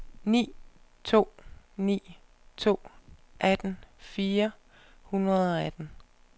ni to ni to atten fire hundrede og atten